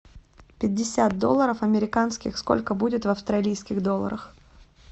пятьдесят долларов американских сколько будет в австралийских долларах